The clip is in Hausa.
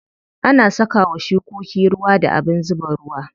Ana saka wa shukoki ruwa da abin zuba ruwa.